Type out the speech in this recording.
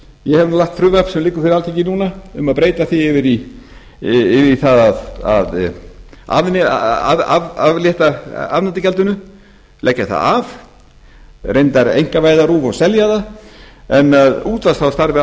nú lagt fram frumvarp sem liggur fyrir alþingi núna um að breyta því yfir í það að aflétta afnotagjaldinu leggja það af reyndar einkavæða rúv og selja það en að útvarpsráð starfi